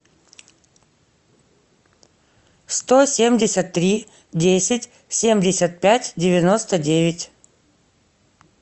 сто семьдесят три десять семьдесят пять девяносто девять